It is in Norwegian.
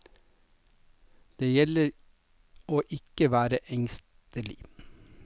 Det gjelder å ikke være engstelig.